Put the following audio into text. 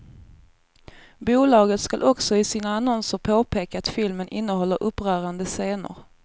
Bolaget skall också i sina annonser påpeka att filmen innehåller upprörande scener.